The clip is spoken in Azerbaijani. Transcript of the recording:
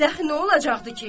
Bədəxi nə olacaqdı ki?